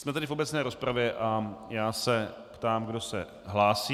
Jsme tedy v obecné rozpravě a já se ptám, kdo se hlásí.